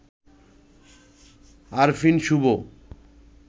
Arfin Shubho